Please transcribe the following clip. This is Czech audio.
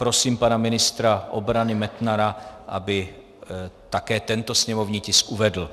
Prosím pana ministra obrany Metnara, aby také tento sněmovní tisk uvedl.